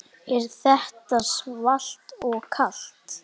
Er þetta svalt og kalt?